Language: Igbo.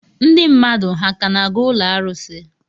Ndị mmadụ ha ka na-aga ụlọ arụsị?